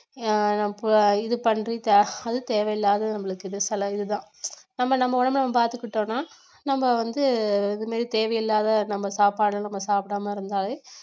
அது தேவையில்லாதது நம்மளுக்கு இது செலவு நம்ம நம்ம உடம்பை நம்ம பாத்துக்கிட்டோம்னா நம்ம வந்து இது மாதிரி தேவையில்லாத நம்ம சாப்பாடு நம்ம சாப்பிடாம இருந்தாலே